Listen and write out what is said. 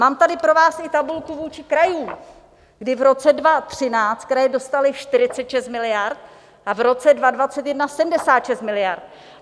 Mám tady pro vás i tabulku vůči krajům, kdy v roce 2013 kraje dostaly 46 miliard a v roce 2021 76 miliard.